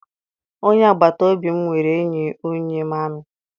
Onye agbataobi m nwere enyi onye amị.